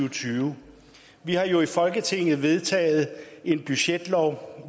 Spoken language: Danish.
og tyve vi har jo i folketinget vedtaget en budgetlov